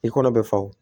I kɔnɔ bɛ fa wo